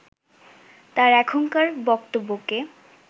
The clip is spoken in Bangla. তার এখনকার বক্তব্যকে